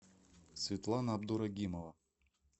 сватлана абдурагимова